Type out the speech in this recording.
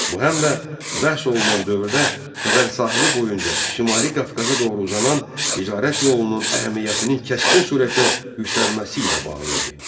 Bu həm də bəhs olunan dövrdə Xəzər sahili boyunca Şimali Qafqaza doğru uzanan ticarət yolunun əhəmiyyətinin kəskin surətdə yüksəlməsi ilə bağlı idi.